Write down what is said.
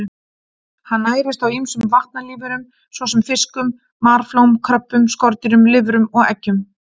Hann nærist á ýmsum vatnalífverum svo sem fiskum, marflóm, kröbbum, skordýrum, lirfum og eggjum.